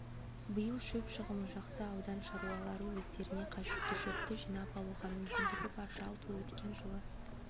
биыл шөп шығымы жақсы аудан шаруалары өздеріне қажетті шөпті жинап алуға мүмкіндігі бар жалпы өткен жылы